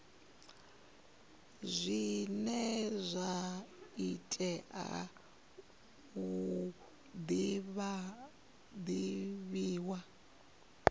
zwine zwa tea u divhiwa